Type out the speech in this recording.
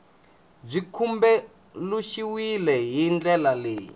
byi tumbuluxiwile hi ndlela leyi